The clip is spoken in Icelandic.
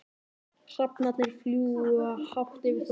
Hrafnarnir fljúga hátt yfir þorpinu.